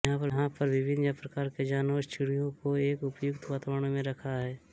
यहां पर विभिन्न प्रकार के जानवरों चिड़ियों को एक उपयुक्त वातावरण में रखा है